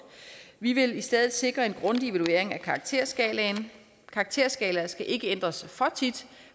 vi vil i stedet sikre en grundig evaluering af karakterskalaen karakterskalaer skal ikke ændres for tit